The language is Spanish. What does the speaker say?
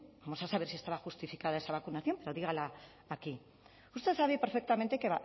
vamos a saber si estaba justificada esa vacunación pero dígalo aquí usted sabe perfectamente que